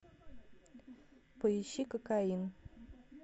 поищи кокаин